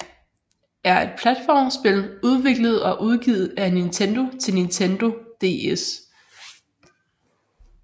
er et platformspil udviklet og udgivet af Nintendo til Nintendo DS